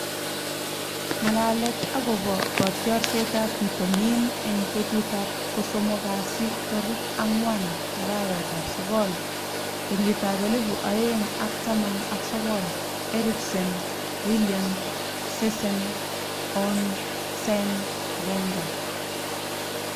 Ng'alalet akobo kitiorsetab bitoni eng betutab kosomok kasi tarik ang'wan, arawetab sokol, kenyitab elebu oeng ak taman ak sokol:Eriksen, Willian, Sessegnon, Sane, Wenger .